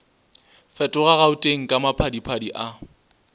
fetoga gauteng ka maphadiphadi a